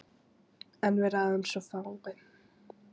En við ráðum svo fáu.